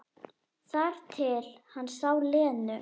Þar til hann sá Lenu.